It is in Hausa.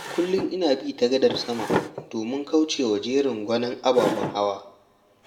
Kullum ina bi ta gadar sama domin kaucewa jerin gwanon ababen hawa.